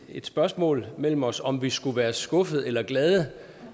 spørgsmål op mellem os om om vi skulle være skuffede eller glade